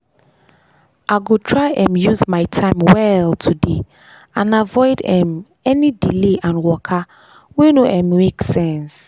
i go try um use my time well today and avoid um any delay and waka wey no um make sense.